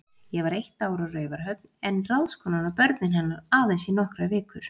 Ég var eitt ár á Raufarhöfn, en ráðskonan og börnin hennar aðeins í nokkrar vikur.